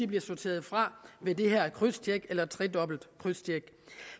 bliver sorteret fra ved det her krydstjek eller tredobbelte krydstjek